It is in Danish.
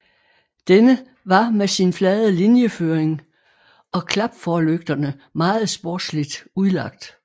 Denne var med sin flade linjeføring og klapforlygterne meget sportsligt udlagt